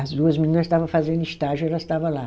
As duas menina estava fazendo estágio, elas estava lá.